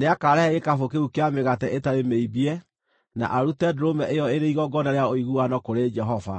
Nĩakarehe gĩkabũ kĩu kĩa mĩgate ĩtarĩ mĩimbie na arute ndũrũme ĩyo ĩrĩ igongona rĩa ũiguano kũrĩ Jehova,